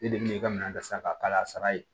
E de bɛ ka minan ta san ka kala ye